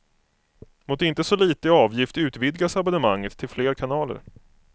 Mot inte så litet i avgift utvidgas abonnemanget till fler kanaler.